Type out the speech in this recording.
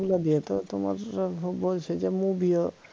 ওগুলা দিয়ে তো তোমার আহ বলছে যে movie ও